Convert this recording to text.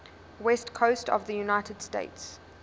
west coast of the united states